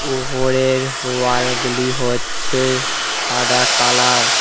ওপরের ওয়ালগুলি হচ্ছে সাদা কালার ।